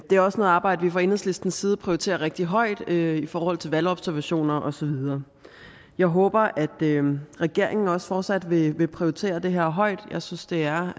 det er også noget arbejde vi fra enhedslistens side prioriterer rigtig højt i forhold til valgobservationer og så videre jeg håber at regeringen også fortsat vil prioritere det her højt jeg synes det er